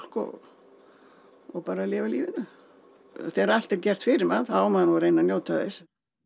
og bara lifa lífinu þegar allt er gert fyrir mann þá á maður nú að reyna að njóta þess